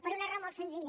per una raó molt senzilla